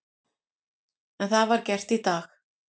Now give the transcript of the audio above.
En það var gert í dag.